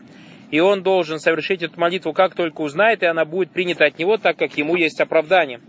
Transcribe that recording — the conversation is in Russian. и он должен совершить эту молитву как только узнает и она будет принята от него так как ему есть оправдание